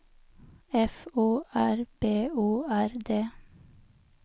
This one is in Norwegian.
F O R B O R D